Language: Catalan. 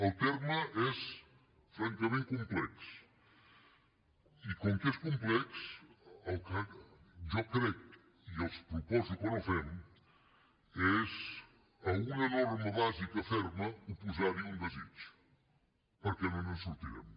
el terme és francament complex i com que és complex el que jo crec i els proposo que no fem és a una norma bàsica ferma oposar hi un desig perquè no ens en sortirem